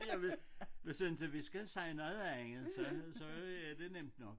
Jeg ved nu synes jeg vi skal sige noget andet så så er det nemt nok